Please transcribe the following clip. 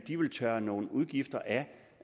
vil tørre nogle udgifter